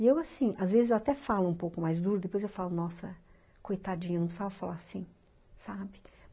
E eu assim, às vezes eu até falo um pouco mais duro, depois eu falo, nossa, coitadinha, não precisava falar assim, sabe?